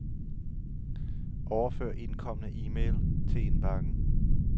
Overfør indkomne e-mail til indbakken.